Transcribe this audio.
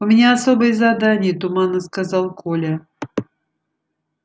у меня особое задание туманно сказал коля